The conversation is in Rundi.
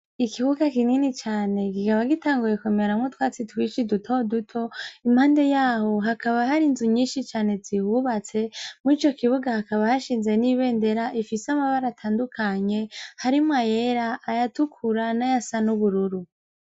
Ikibuga kinini cane igikaba gitanguyekomeramwo twatsi twishi duto duto impande yaho hakaba hari inzu nyinshi cane zihubatse mu ico kibuga hakaba hashinze n'ibendera ifise amabare atandukanye harimwo ayera ayatukura n'aya sa n'ubururu.